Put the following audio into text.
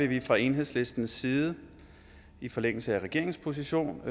vi fra enhedslistens side i forlængelse af regeringens position